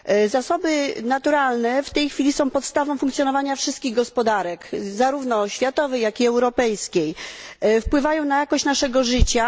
Zasoby naturalne są w tej chwili podstawą funkcjonowania wszystkich gospodarek, zarówno światowej, jak i europejskiej, wpływają na jakość naszego życia.